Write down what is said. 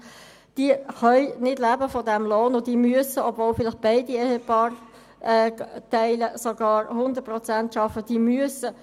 Diese können von ihrem Lohn nicht leben, und sie müssen Sozialhilfe beanspruchen, obwohl vielleicht sogar beide Ehepaarteile zu 100 Prozent arbeiten.